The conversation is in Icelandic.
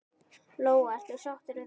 Lóa: Ertu sáttur við það?